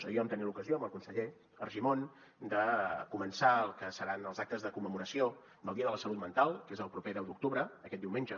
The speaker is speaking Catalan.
ahir vam tenir l’ocasió amb el conseller argimon de començar el que seran els actes de commemoració del dia de la salut mental que és el proper deu d’octubre aquest diumenge